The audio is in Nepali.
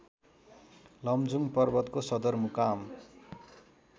लमजुङ पर्वतको सदरमुकाम